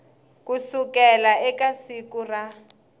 ku sukela eka siku ra